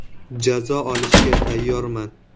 Jazo olishga tayyorman.